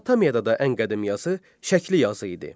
Mesopotamiyada da ən qədim yazı şəkli yazı idi.